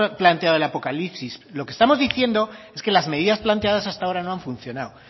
planteado el apocalipsis lo que estamos diciendo es que las medidas planteadas hasta ahora no han funcionado